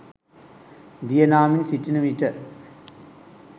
දිය නාමින් සිටින විට